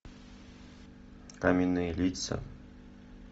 каменные лица